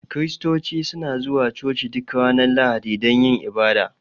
kiristoci suna zuwa coci duk Ranar lahadi dun yin ibada.